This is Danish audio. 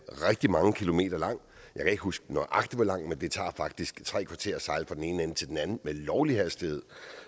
rigtig mange kilometer lang jeg kan ikke huske nøjagtig hvor lang men det tager faktisk tre kvarter at sejle fra den ene ende til den anden med lovlig hastighed